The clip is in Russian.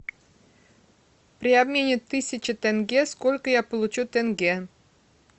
при обмене тысячи тенге сколько я получу тенге